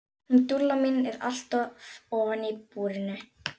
Hún Dúlla mín er alltaf ofan í búrinu.